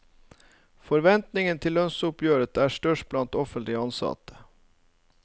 Forventningene til lønnsoppgjøret er størst blant offentlig ansatte.